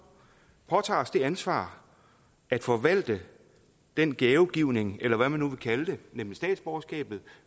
påtager os det ansvar at forvalte den gavegivning eller hvad man nu vil kalde det nemlig statsborgerskabet